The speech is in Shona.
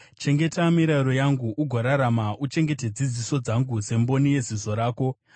Chengeta mirayiro yangu ugorarama; uchengete dzidziso dzangu semboni yeziso rako.